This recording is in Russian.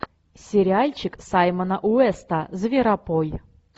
сериальчик саймона уэста зверопой